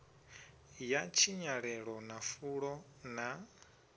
ya tshinyalelo na fulo ḽa